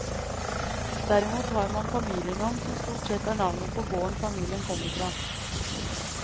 Derimot har man familienavn, som stort sett er navnet på gården familien kommer fra.